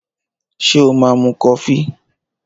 Ṣé o máa mu kofí?